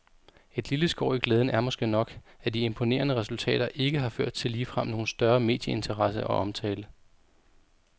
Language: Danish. Et lille skår i glæden er måske nok, at de imponerende resultater ikke har ført til ligefrem nogen større medieinteresse og omtale.